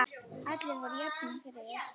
Allir voru jafnir fyrir þér.